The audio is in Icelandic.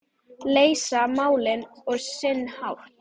Leysa málin á sinn hátt.